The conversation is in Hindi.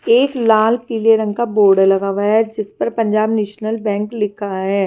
एक लाल पीले रंग का बोर्ड लगा हुआ है जिस पर पंजाब नेशनल बैंक लिखा है।